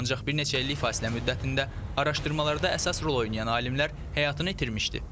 Ancaq bir neçə illik fasilə müddətində araşdırmalarda əsas rol oynayan alimlər həyatını itirmişdi.